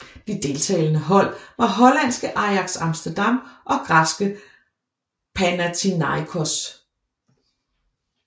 De deltagende hold var hollandske Ajax Amsterdam og græske Panathinaikos